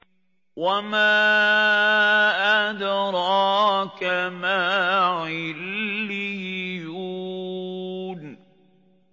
وَمَا أَدْرَاكَ مَا عِلِّيُّونَ